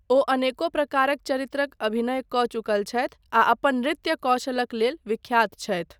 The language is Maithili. ओ अनेको प्रकारक चरित्रक अभिनय कऽ चुकल छथि आ अपन नृत्य कौशलक लेल विख्यात छथि।